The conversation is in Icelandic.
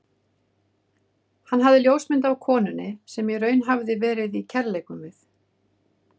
Hann hafði ljósmynd af konunni, sem í raun hafði verið í kærleikum við